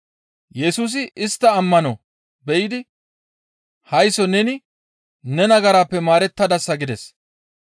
Yesusi istta ammano be7idi, «Haysso neni ne nagaraappe maarettadasa» gides.